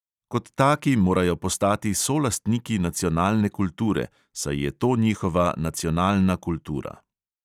Kot taki morajo postati solastniki nacionalne kulture, saj je to njihova nacionalna kultura.